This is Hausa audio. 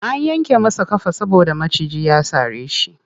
An yanke masa ƙafa saboda maciji ya sare shi.